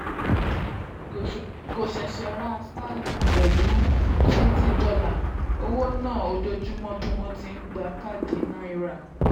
kò ṣeéṣe ra starlink pẹ̀lú twenty dolar owó náà ojoojúmọ́ bí wọ́n ti gba káàdì náírà.